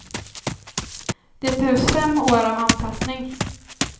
Det behövs fem år av anpassning.